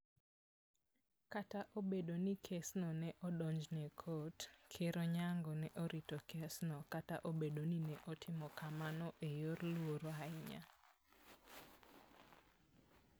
Kata obedo ni kesno ne odonjne e kot, Ker Onyango ne orito kesno, kata obedo ni ne otimo kamano e yor luor ahinya.